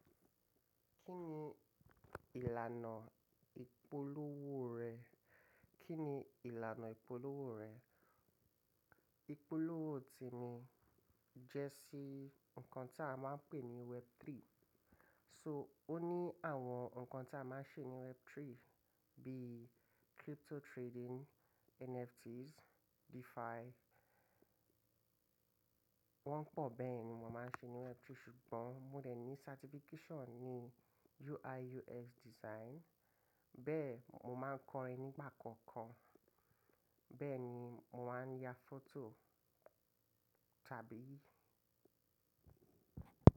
Kí ni ìlànà ìpolówó rẹ̀? Ìpolówó ti mi jẹ́ sí nǹkan tí a máa ń pè ní Web3. So ó ní àwọn nǹkan tí a máa ń ṣe ní Web3 bíi crypto trading, NFTs, DeFi. Wọ́n pọ̀ bẹ́ẹ̀ ni mo máa ń ṣe ní Web3 ṣùgbọ́n mo rẹ̀ ní certification ní UI UX design. Bẹ́ẹ̀ mo máa ń kọrin nígbà kọ̀ọ̀kan, bẹ́ẹ̀ ni mo máa ń ya fọ́tò tàbí.